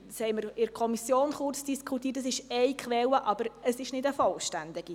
Wir haben in der Kommission kurz darüber diskutiert, dass dies Quelle ist, aber keine vollständige.